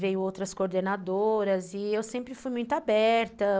Veio outras coordenadoras e eu sempre fui muito aberta.